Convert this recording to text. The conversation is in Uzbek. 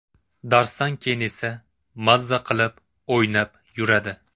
Darsdan keyin esa mazza qilib o‘ynab yuradi.